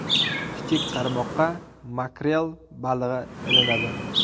Kichik qarmoqqa makrel balig‘i ilinadi.